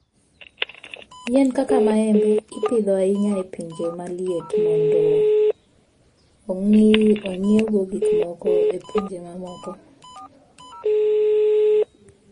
Yien kaka maembe ipidho ahinya e pinje ma liet mondo ong'iewgo gik moko e pinje mamoko.